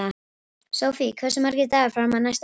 Sofie, hversu margir dagar fram að næsta fríi?